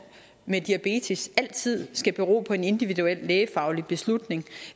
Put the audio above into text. med diabetes altid skal bero på en individuel lægefaglig beslutning